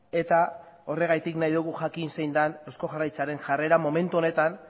eta horregatik nahi dugu jakin zein den eusko jaurlaritzaren jarrera momentu honetan